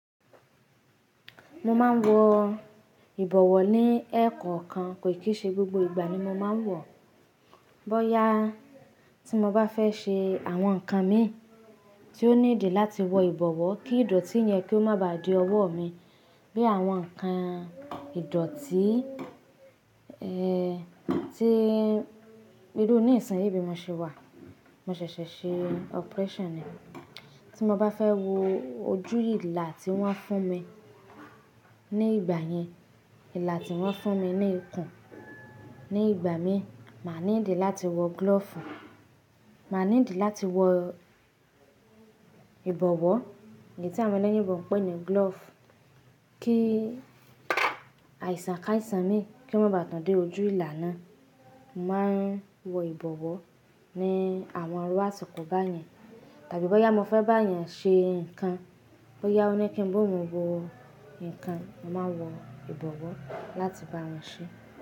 Mo máa ń wọ ìbọ̀wọ́ ní ẹẹkan kan, kò kìí ṣe gbogbo ìgbà ni mo máa ń wọ̀. Bóyá tí mo bá fẹ́ ṣe àwọn nǹkan mi tí ó ní ìdí láti wọ ìbọ̀wọ́ kí ìdọ̀tí yẹn kí ó má ba à di ọwọ́ mi. Bí àwọn nǹkan ìdọ̀tí, ẹ́, tí ibi tó ní ìsàn ni ibi mo ṣe wà, mo ṣẹ̀ṣẹ̀ ṣe operation ni. Tí mo bá fẹ́ wọ ojú ìlà tí wọ́n fún mi ní ìgbà yẹn, ìlà tí wọ́n fún mi ní ikùn ní ìgbà mi, màá ní ìdí láti wọ glove. Màá ní ìdí láti wọ ìbọ̀wọ́, èyí tí àwọn ẹlẹ́yìnbo ń pè ní glove, kí àìsàn ká àìsàn mi kí ó má ba à tàn dé ojú ìlà náà. Mo máa ń wọ ìbọ̀wọ́ ní àwọn irú àtòkọ̀ bá yẹn. Tàbí bóyá mo fẹ́ bá èèyàn ṣe nǹkan, bóyá ó ní kí n bú òun wọ nǹkan, mo máa wọ ìbọ̀wọ́ láti bá won ṣe.